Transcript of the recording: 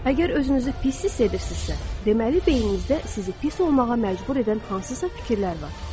Əgər özünüzü pis hiss edirsinizsə, deməli beyninizdə sizi pis olmağa məcbur edən hansısa fikirlər var.